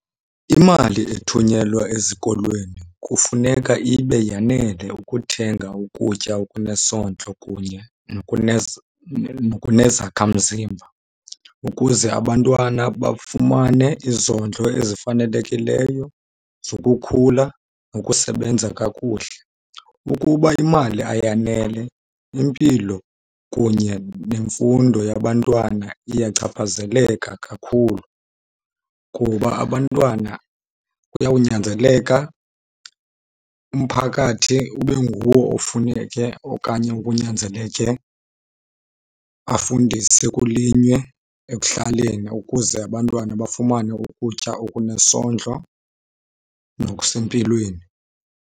Imali ethunyelwa ezikolweni kufuneka ibe yanele ukuthenga ukutya okunesondlo kunye nokunezakhamzimba ukuze abantwana bafumane izondlo ezifanelekileyo zokukhula nokusebenza kakuhle. Ukuba imali ayanele, impilo kunye nemfundo yabantwana iyachaphazeleka kakhulu, kuba abantwana kuyawunyanzeleka umphakathi ube nguwo ofuneke okanye okunyanzeleke afundise kulinywe ekuhlaleni ukuze abantwana bafumane ukutya okunesondlo nokusempilweni.